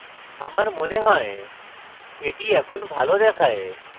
আমার মনে হয় এটি এখন ভালো দেখায়